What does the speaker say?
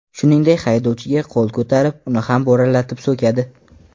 Shuningdek, haydovchiga qo‘l ko‘tarib, uni ham bo‘ralatib so‘kadi.